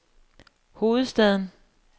hovedstaden